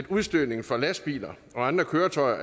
udstødningen fra lastbiler og andre køretøjer